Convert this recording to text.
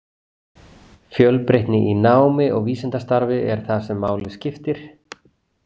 Fjölbreytni í námi og vísindastarfi er það sem máli skiptir.